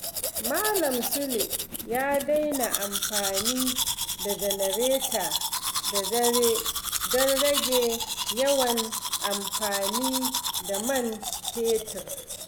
Malam Sule ya daina amfani da janareta da dare don rage yawan amfani da man fetur.